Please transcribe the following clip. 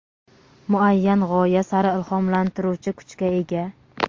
muayyan g‘oya sari ilhomlantiruvchi kuchga ega.